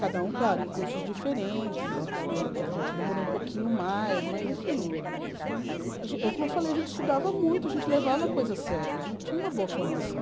Cada um, claro, em cursos diferentes, teve gente que demorou um pouquinho mais, mas, enfim... Como eu falei, a gente estudava muito, a gente levava a coisa sério, a gente tinha uma boa formação.